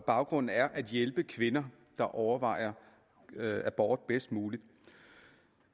baggrund er at hjælpe kvinder der overvejer abort bedst muligt